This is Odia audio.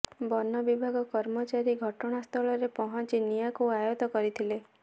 ବନ ବିଭାଗ କର୍ମଚାରୀ ଘଟଣାସ୍ଥଳରେ ପହଞ୍ଚି ନିଆଁକୁ ଆୟତ୍ତ କରିଥିଲେ